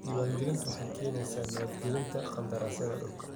Diiwaangelintu waxay keenaysaa nabad gelyada qandaraasyada dhulka.